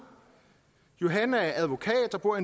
johan er advokat og bor